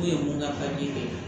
N'o ye mun ka de ye